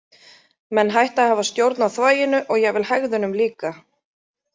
Menn hætta að hafa stjórn á þvaginu og jafnvel hægðunum líka.